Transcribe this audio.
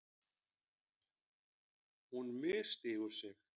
Hún misstígur sig.